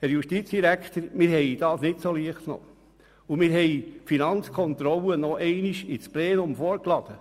Herr Justizdirektor, wir haben das nicht leicht genommen, und wir haben die Finanzkontrolle noch einmal ins Plenum vorgeladen.